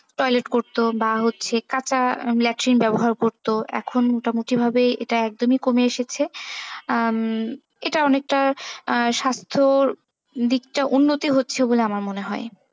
Toilet করতো বা হচ্ছে ফাঁকা latrine ব্যবহার করতো এখন মোটামুটি ভাবে একদমই কমে এসেছে উম এটা অনেকটা স্বাস্থ্য দিকটা উন্নতি হচ্ছে বলে আমার মনে হয়।